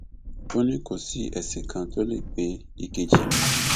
ó ní kò sí ẹsìn kan tó lè gbé èkejì mi